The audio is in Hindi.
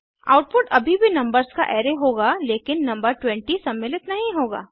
आउटपुट अभी भी नंबर्स का अराय होगा लेकिन नंबर 20 सम्मिलित नहीं होगा